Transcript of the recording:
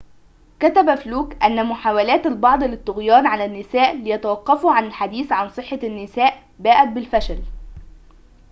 كتب فلوك أن محاولات البعض للطغيان على النساء ليتوقفوا عن الحديث عن صحة النساء باءت بالفشل